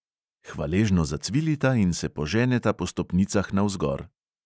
Hvaležno zacvilita in se poženeta po stopnicah navzgor.